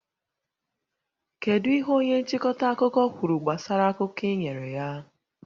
Kedu ihe onye nchịkọta akụkọ kwuru gbasara akụkọ ị nyere ya?